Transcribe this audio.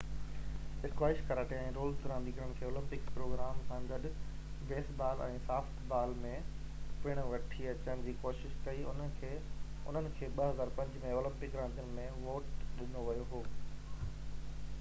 squash karate ۽ roller راندين کي Olympic programme سان گڏ بيس بال ۽ سافٽ بال ۾ پڻ وٺي اچڻ جي ڪوشش ڪئي انهن کي 2005 ۾ اولمپڪ راندين ۾ ووٽ ڏنو ويو هو